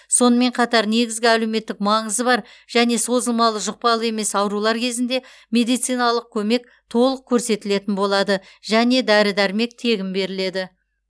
сонымен қатар негізгі әлеуметтік маңызы бар және созылмалы жұқпалы емес аурулар кезінде медициналық көмек толық көрсетілетін болады және дәрі дәрмек тегін беріледі